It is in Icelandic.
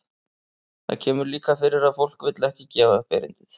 Það kemur líka fyrir að fólk vill ekki gefa upp erindið.